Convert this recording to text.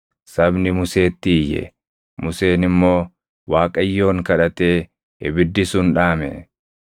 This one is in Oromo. Sabni Museetti iyye; Museen immoo Waaqayyoon kadhatee ibiddi sun dhaame.